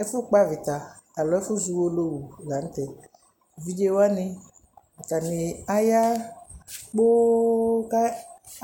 Ɛfʋkpɔ avɩta alo ɛfʋzɔ Uwolowu la nʋ tɛ Evidze wanɩ, atanɩ aya kpoo kʋ